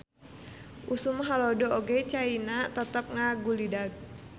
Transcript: Usum halodo oge Caina tetep ngagulidag.